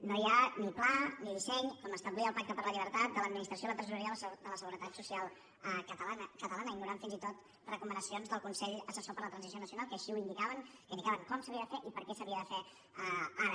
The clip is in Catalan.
no hi ha ni pla ni disseny com establia el pacte per la llibertat de l’administració i la tresoreria de la seguretat social catalana ignorant fins i tot recomanacions del consell assessor per la transició nacional que així ho indicaven que indicaven com s’havia de fer i per què s’havia de fer ara